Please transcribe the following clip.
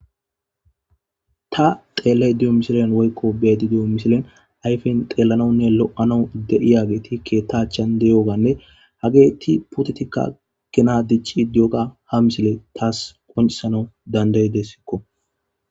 ta xeelley diyo misilen woykko beedi diyo misilen ayfen xeellanonne lo7ano de7iya geeti keettachan de7yoganne hageeti putetikka kinaa dichi diyoga ha misile taas qoncisano danday dessikko